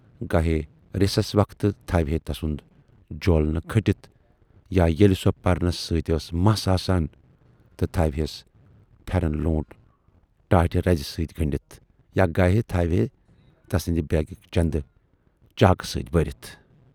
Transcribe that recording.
گاہے رِسس وقتہٕ تھاوِہے تسُند جولنہٕ کھٔٹِتھ یا ییلہِ سۅ پرنس سٍتۍ مَس ٲس آسان تہٕ تھاوِہیس پھٮ۪رن لوٗنٹ ٹاٹہٕ رَزِ سٍتۍ گٔنڈِتھ یا گاہے تھاوِہے تسٕندۍ بیگٕکۍ چندٕ چاکہٕ سٍتۍ بٔرِتھ۔